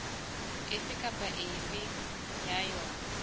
efe kapa efe ya yona